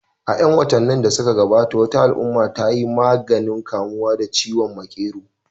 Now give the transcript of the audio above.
A 'yan watannin da suka gabata, wata al'umma ta yi maganin kamuwa da ciwon makero